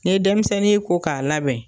Ni ye denmisɛnnin ye ko k'a labɛn.